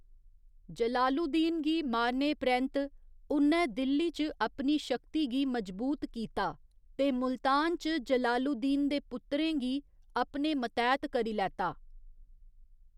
जलालुद्दीन गी मारने परैंत्त, उ'न्नै दिल्ली च अपनी शक्ति गी मजबूत कीता, ते मुल्तान च जलालुद्दीन दे पुत्तरें गी अपने मतैह्‌त करी लैता।